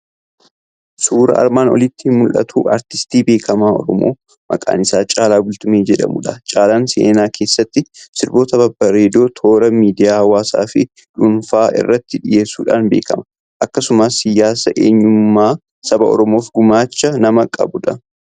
Suuraan armaan olitti mul'atu artistii beekamaa Oromoo, maqaan isaa Caalaa Bultumee jedhamudha. Caalaan seenaa keessatti sirboota babbareedoo toora miidiyaa hawaasaa fi dhuunfaa irratti dhiyeessuudhaan beekama. Akkasumas, siyaasa eenyummaa saba Oromoof gumaacha nama qabudha.